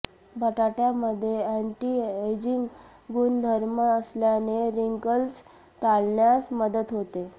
बटाट्यामध्ये अॅंटीएजिंग गुणधर्म असल्याने रिंकल्स टाळण्यास मदत होते